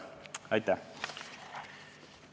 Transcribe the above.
Aitäh!